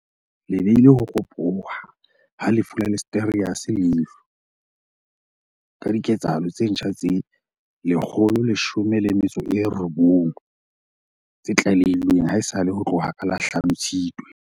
le beile ho ropoha ha lefu la Listeriosis leihlo, ka dike tsahalo tse ntjha tse 119 tse tlalehilweng haesale ho tloha ka la hlano, 5, Tshitwe.